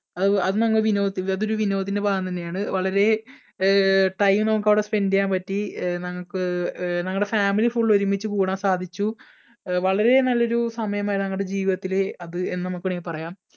ആഹ് അത് നമ്മ വിനോദത്തിന്‍ടെ അതൊരു വിനോദത്തിന്‍ടെ ഭാഗം തന്നെയാണ്. വളരെ അഹ് time നമുക്ക് അവിടെ spend ചെയ്യാൻ പറ്റി. അഹ് നമുക്ക് നമ്മുടെ family full ഒരുമിച്ച് കൂടാൻ സാധിച്ചു. വളരെ നല്ലൊരു സമയമായിരുന്നു ഞങ്ങടെ ജീവിതത്തിലെ അത് എന്ന് നമുക്ക് വേണമെങ്കിൽ പറയാം.